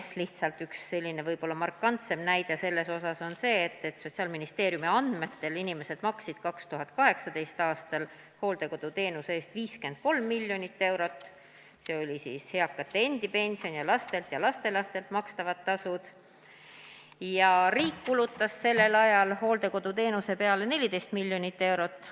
Lihtsalt üks võib-olla markantseim näide selle kohta on see, et Sotsiaalministeeriumi andmetel maksid inimesed 2018. aastal hooldekoduteenuse eest 53 miljonit eurot, see oli eakate endi pension ja laste-lastelaste makstavad tasud, ning riik kulutas sellel ajal hooldekoduteenuse peale 14 miljonit eurot.